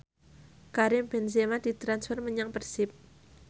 Karim Benzema ditransfer menyang Persib